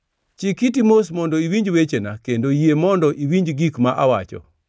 Chik iti mos mondo iwinj wechena; kendo yie mondo iwinj gik ma awacho.